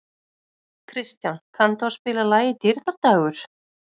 Kristján, kanntu að spila lagið „Dýrðardagur“?